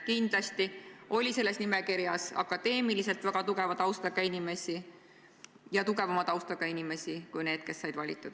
Kindlasti oli selles nimekirjas väga tugeva akadeemilise taustaga inimesi, seejuures tugevama taustaga inimesi kui need, kes said valitud.